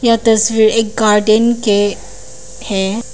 यह तस्वीर एक गार्डन के है।